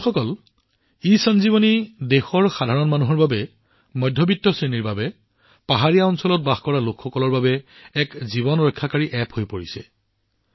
বন্ধুসকল ইসঞ্জীৱনী দেশৰ সাধাৰণ মানুহৰ বাবে মধ্যবিত্ত শ্ৰেণীৰ বাবে পাহাৰীয়া অঞ্চলত বাস কৰা লোকসকলৰ বাবে এক জীৱন ৰক্ষাকাৰী এপ্প হৈ পৰিছে